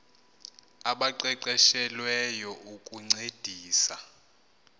abaqeqeshe lweyo ukuncedisa